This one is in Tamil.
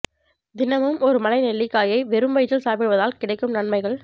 தினமும் ஒரு மலை நெல்லிக்காயை வெறும் வயிற்றில் சாப்பிடுவதால் கிடைக்கும் நன்மைகள்